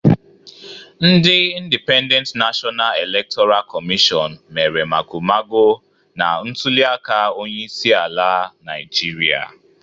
Ndị Indipendent Nashọna Elektọra Kọmịshọn mere mago mago na ntuliaka onyeisiala Naịjirịa